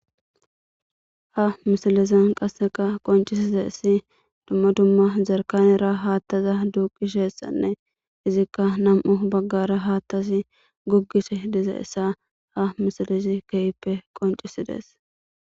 ha misilizan qasseka qoncisiza issi dumma dumma jarkanera haattaza duuqishessanne izikka nam7u baggara haattasi goggishe dizayssa ha misilizi keyippe qoncisidees